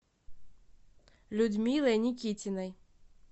людмилой никитиной